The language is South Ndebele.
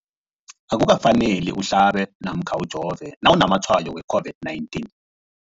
Akuka faneli uhlabe namkha ujove nawu namatshayo we-COVID-19.